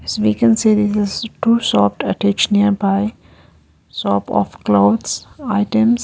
This we can say this is two shops attached nearby shop of clothes items.